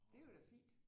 Det er jo da fint